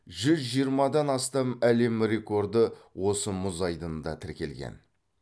жүз жиырмадан астам әлем рекорды осы мұз айдынында тіркелген